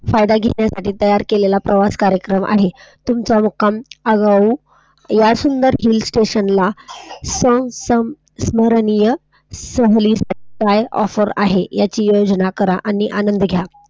फायदा घेण्यासाठी तयार केलेला प्रवास कार्यक्रम आहे. तुमचा मुक्काम हळूहळू या सुंदर हिल स्टेशन ला समरणीर्य सहली साठी काय Offer आहे याची तुलना करा आणि आनंद घ्या